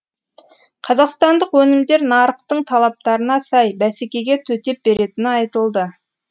қазақстандық өнімдер нарықтың талаптарына сай бәсекеге төтеп беретіні айтылды